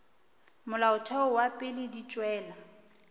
molaotheo wa pele di tšwela